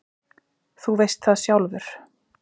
Þú veist það sjálfur.